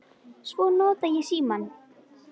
Svo nota ég símann.